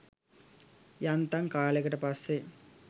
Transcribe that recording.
යන්තන් කාලෙකට පස්සේ